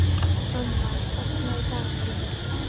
Annar, opnaðu dagatalið mitt.